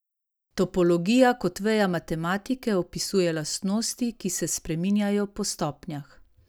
Topologija kot veja matematike opisuje lastnosti, ki se spreminjajo po stopnjah.